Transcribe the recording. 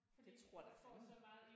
Det tror da fanden